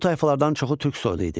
Bu tayfalardan çoxu türk soyunda idi.